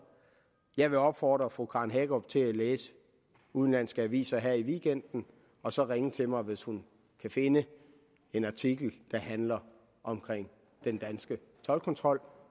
jeg vil opfordre fru karen hækkerup til at læse udenlandske aviser her i weekenden og så ringe til mig hvis hun kan finde en artikel der handler om den danske toldkontrol